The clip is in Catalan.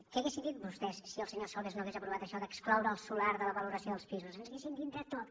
què haurien dit vostès si el senyor solbes no hagués aprovat això d’excloure el solar de la valoració dels pisos ens haurien dit de tot